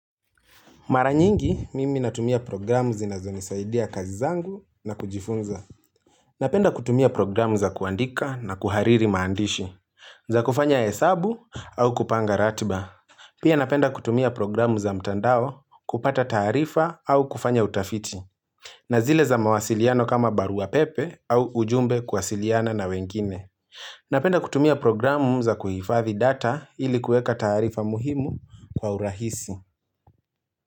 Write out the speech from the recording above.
Mara nyingi, mimi natumia programu zinazonisaidia kazi zangu na kujifunza. Napenda kutumia programu za kuandika na kuhariri maandishi, za kufanya hesabu au kupanga ratiba. Pia napenda kutumia programu za mtandao kupata taarifa au kufanya utafiti. Na zile za mawasiliano kama barua pepe au ujumbe kuwasiliana na wengine. Napenda kutumia programu za kuhifadhi data ili kueka taarifa muhimu kwa urahisi.